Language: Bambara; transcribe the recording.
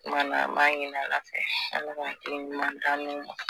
kumana an b'a ɲini ala fɛ ala ka hakilina ɲuman d'an n'u ma